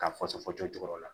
K'a fɔ fɔ cɔcɔ yɔrɔ la